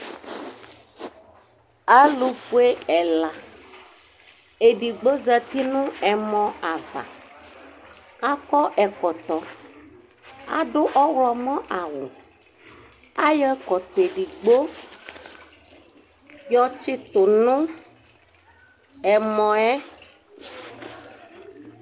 alofue ɛla edigbo zati no ɛmɔ ava akɔ ɛkɔtɔ ado ɔwlɔmɔ awu ayɔ ɛkɔtɔ edigbo yɔ tsito no ɛmɔɛ